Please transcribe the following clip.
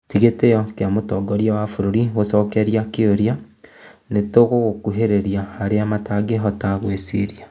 Tigĩtĩo kĩa mũtongoria wa bũrũri gũcokeria kĩũria "nĩtũragũkuhĩrĩria harĩa matangĩhota gwĩciria"